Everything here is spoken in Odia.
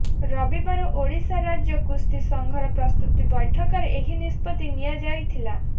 ରବିବାର ଓଡ଼ିଶା ରାଜ୍ୟ କୁସ୍ତି ସଂଘର ପ୍ରସ୍ତୁତି ବୈଠକରେ ଏହି ନିଷ୍ପତ୍ତି ନିଆ ଯାଇଥିଲା